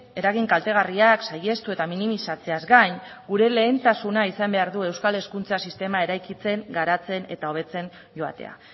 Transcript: eragin kaltegarriak saihestu eta minimizatzeaz gain gure lehentasuna izan behar du euskal hezkuntza sistema eraikitzen garatzen eta hobetzen joatea